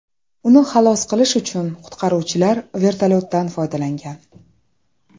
Uni xalos qilish uchun qutqaruvchilar vertolyotdan foydalangan.